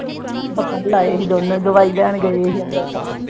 ਬੁਲਾਏ ਸੀ ਦੋਨੇਂ। ਦਵਾਈ ਲੈਣ ਗਏ ਸੀ, ਅੰਬਰਸਰ।